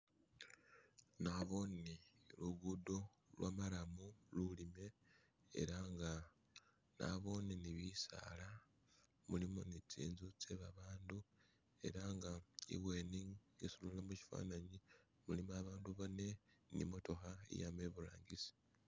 Naboone lugudo lwa marram lulime ela nga nabone ni bisaala mulimo ni zinzu zebabantu ela nga imaso mushifananyi mulimo abantu bane ni i'motoka yama ibutangisi.